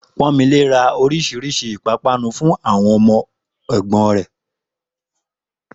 Pọ́nmilé ra oríṣiríṣi ìpápánu fún àwọn ọmọ ẹ̀gbọ́n rẹ̀